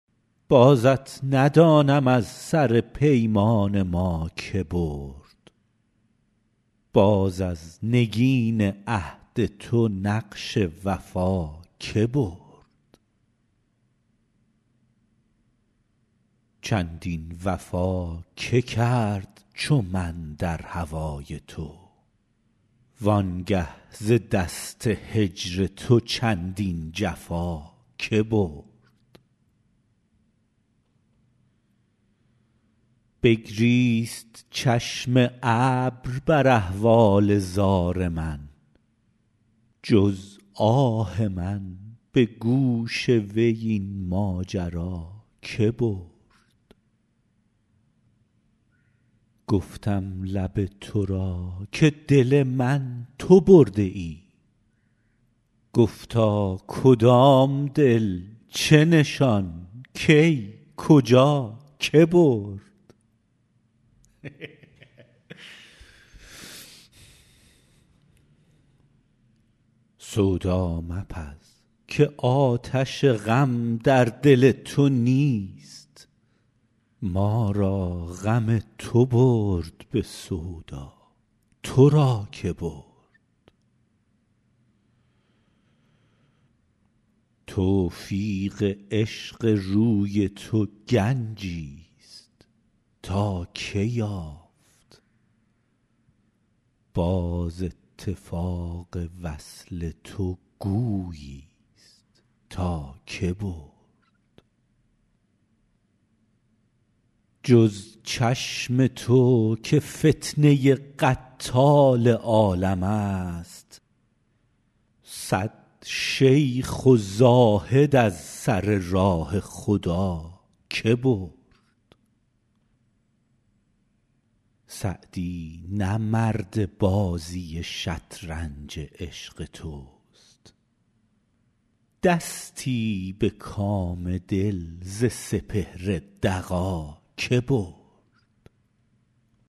بازت ندانم از سر پیمان ما که برد باز از نگین عهد تو نقش وفا که برد چندین وفا که کرد چو من در هوای تو وان گه ز دست هجر تو چندین جفا که برد بگریست چشم ابر بر احوال زار من جز آه من به گوش وی این ماجرا که برد گفتم لب تو را که دل من تو برده ای گفتا کدام دل چه نشان کی کجا که برد سودا مپز که آتش غم در دل تو نیست ما را غم تو برد به سودا تو را که برد توفیق عشق روی تو گنجیست تا که یافت باز اتفاق وصل تو گوییست تا که برد جز چشم تو که فتنه قتال عالمست صد شیخ و زاهد از سر راه خدا که برد سعدی نه مرد بازی شطرنج عشق توست دستی به کام دل ز سپهر دغا که برد